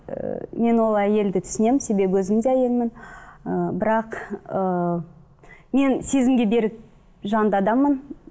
ыыы мен ол әйелді түсінемін себебі өзім де әйелмін ы бірақ ыыы мен сезімге берік жанды адаммын